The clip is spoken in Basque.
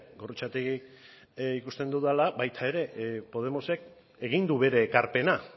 gorrotxategi ikusten dudala baita ere podemosek egin du bere ekarpena